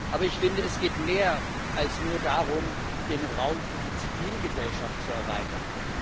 Aber ich finde, es geht um mehr als nur darum, den Raum für die Zivilgesellschaft zu erweitern.